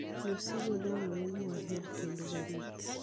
Nyosigo dwarore ni wahere kendo warit.